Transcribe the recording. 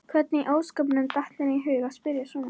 Hvernig í ósköpunum datt henni í hug að spyrja svona!